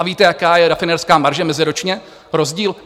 A víte, jaká je rafinérská marže meziročně rozdíl?